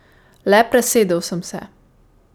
Le presedel sem se.